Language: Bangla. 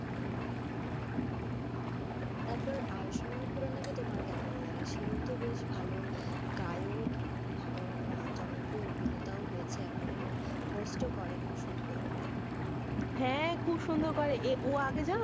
তারপর, আয়ুষ্মান খুরানা কে তোমার কেমন লাগে, সেও তো বেশ ভালো গায়ক এবং ভালো জনপ্রিয় অভিনেতা হয়েছে এখন এবং host ও করে খুব সুন্দর, হ্যাঁ খুব সুন্দর করে, হ্যাঁ ও আগে জানো,